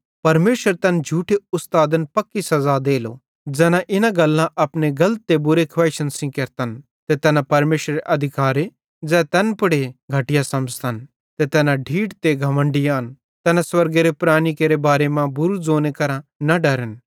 परमेशर तैन झूठे उस्तादन पक्की सज़ा देलो ज़ैना इना गल्लां अपने गलत ते बुरी खवैइशन सेइं केरतन ते तैना परमेशरेरे अधिकारे ज़ै तैन पुड़े घटया समझ़तन ते तैना ढीठ ते घमण्डी आन तैना स्वर्गेरे प्राणेरी केरे बारे मां बुरू ज़ोने करां न डरन